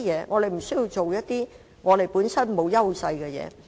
我們不需要做一些本身欠缺優勢的事情。